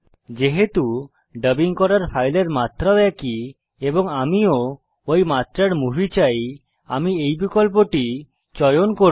যেহেতু ডাবিং করার ফাইলের মাত্রা ও একই এবং আমি ও ঐ মাত্রার মুভি চাই আমি এই বিকল্পটি চয়ন করব